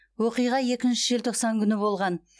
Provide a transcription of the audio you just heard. оқиға екінші желтоқсан күні болған